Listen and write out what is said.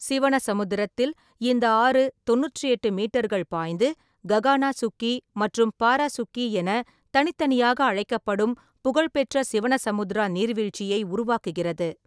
சிவனசமுத்திரத்தில் இந்த ஆறு தொண்ணூற்றி எட்டு மீட்டர்கள் பாய்ந்து ககானா சுக்கி மற்றும் பாரா சுக்கி என தனித்தனியாக அழைக்கப்படும் புகழ்பெற்ற சிவனசமுத்ரா நீர்வீழ்ச்சியை உருவாக்குகிறது.